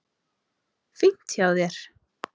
Fínt hjá þér.